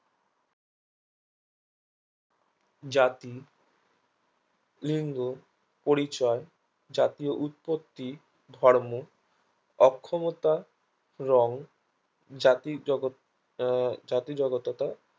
জাতি লিঙ্গ পরিচয় জাতীয় উৎপত্তি ধর্ম অক্ষমতা রং জাতির জগৎ আহ জাতিজগতত্ত্বা